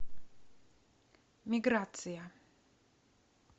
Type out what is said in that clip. миграция